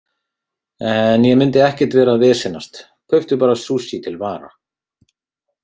En ég myndi ekkert vera að vesenast, kauptu bara sushi til vara.